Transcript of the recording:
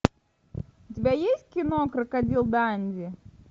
у тебя есть кино крокодил данди